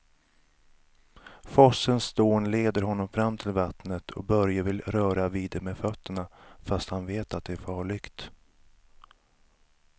Forsens dån leder honom fram till vattnet och Börje vill röra vid det med fötterna, fast han vet att det är farligt.